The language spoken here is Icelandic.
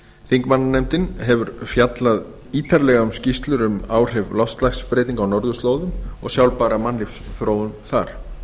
þingmannanefndin hefur fjallað ítarlega um skýrslur um áhrif loftslagsbreytinga á norðurslóðum og sjálfbæra mannlífsþróun þar